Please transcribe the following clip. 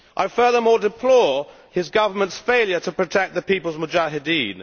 Furthermore I deplore his government's failure to protect the people's Mujahideen.